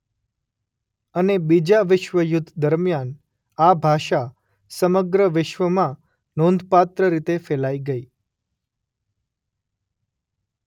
અને બીજાં વિશ્વયુદ્ધ દરમિયાન આ ભાષા સમગ્ર વિશ્વમાં નોંધપાત્ર રીતે ફેલાઇ ગઇ.